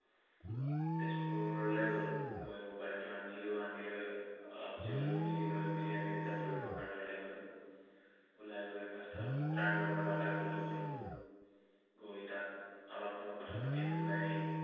তেজপুৰলে গলো। গৈ mobile টো আনিলো। আনি লৈ আহ অলপ জিৰণি মেলি লৈ মেলি আমি দুটা ফুৰিবৰ কাৰনে ওলাই গলো। ওলাই গৈ first first তাৰ লগৰ লৰা এটাৰ ঘৰলৈ গলো। গৈ তাত অলপ সময় কথা পাতি আমি ওলাই